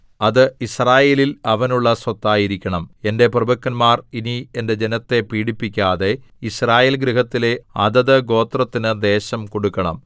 അത് യിസ്രായേലിൽ അവനുള്ള സ്വത്തായിരിക്കണം എന്റെ പ്രഭുക്കന്മാർ ഇനി എന്റെ ജനത്തെ പീഡിപ്പിക്കാതെ യിസ്രായേൽ ഗൃഹത്തിലെ അതത് ഗോത്രത്തിനു ദേശം കൊടുക്കണം